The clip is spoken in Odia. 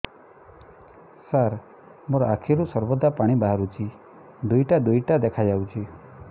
ସାର ମୋ ଆଖିରୁ ସର୍ବଦା ପାଣି ବାହାରୁଛି ଦୁଇଟା ଦୁଇଟା ଦେଖାଯାଉଛି